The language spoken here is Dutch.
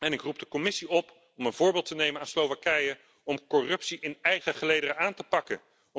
Ik roep de Commissie op een voorbeeld te nemen aan Slowakije om corruptie in eigen gelederen aan te pakken.